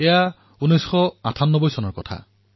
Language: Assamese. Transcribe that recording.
এয়া ১৯৯৮ চনৰ কথা